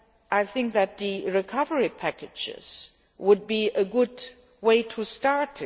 I think that the recovery packages would be a good place to start.